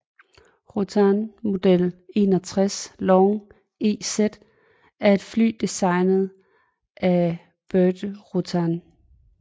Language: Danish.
Rutan Model 61 Long EZ er et fly designet af Burt Rutan